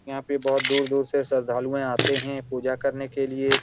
यहाँ पे दूर-दूर से श्रद्धालु आते हैं पूजा करने के लिए।